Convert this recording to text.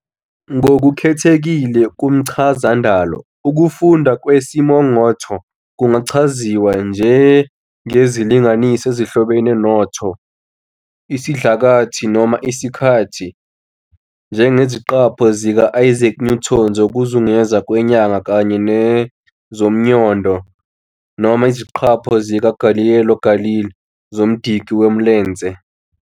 Ngokukhethekile kumchazandalo, ukufundwa kwesimongotho kungachaziswa njengezilinganiso ezihlobene noTho, isidlakathi, noma isikhathi, njengeziqapho zika-Isaac Newton zokuzungeza kwenyanga kanye nezomnyondo, noma iziqapho zika-Galileo Galilei zomdiki womlence.